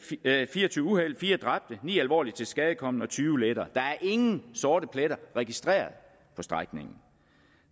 fire og tyve uheld fire dræbte ni alvorligt tilskadekomne og tyve lettere der er ingen sorte pletter registreret på strækningen